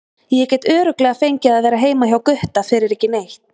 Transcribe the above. Ég get örugglega fengið að vera heima hjá Gutta fyrir ekki neitt.